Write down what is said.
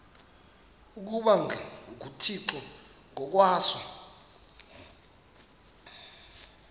ukuba nguthixo ngokwaso